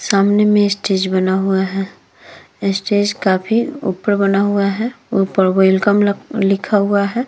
सामने में स्टेज बना हुआ है। स्टेज काफी ऊपर बना हुआ है। ऊपर वेलकम लख लिखा हुआ है।